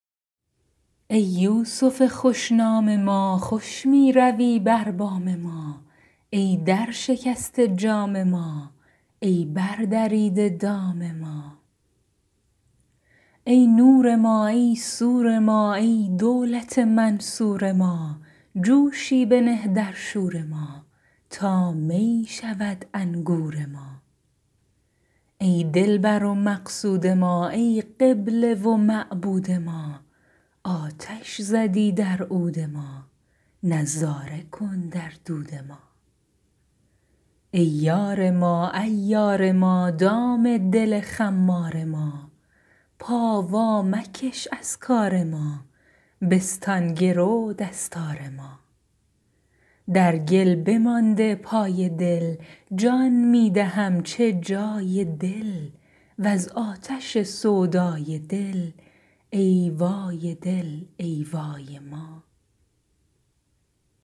ای یوسف خوش نام ما خوش می روی بر بام ما ای درشکسته جام ما ای بردریده دام ما ای نور ما ای سور ما ای دولت منصور ما جوشی بنه در شور ما تا می شود انگور ما ای دلبر و مقصود ما ای قبله و معبود ما آتش زدی در عود ما نظاره کن در دود ما ای یار ما عیار ما دام دل خمار ما پا وامکش از کار ما بستان گرو دستار ما در گل بمانده پای دل جان می دهم چه جای دل وز آتش سودای دل ای وای دل ای وای ما